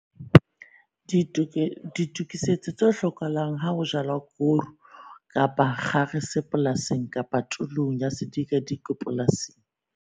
DITOKISETSO TSE HLOKAHALANG HA HO JALWA KORO KAPA KGARESE POLASING KAPA TULONG YA SEDIKADIKWE POLASING.